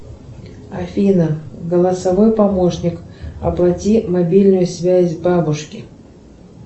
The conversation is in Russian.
афина голосовой помощник оплати мобильную связь бабушке